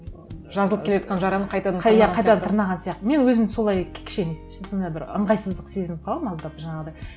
ы жазылып келе жатқан жараны қайтадан тырнаған қайтадан тырнаған сияқты мен өзім солай кішкене сондай бір ыңғайсыздық сезініп қаламын аздап жаңағыдай